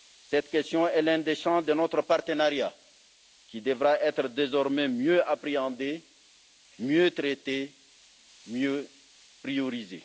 Cette question est l'un des champs de notre partenariat qui devra désormais être mieux appréhendé, mieux traité, mieux priorisé.